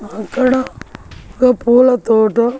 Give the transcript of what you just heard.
అక్కడ ఒక పూల తోట--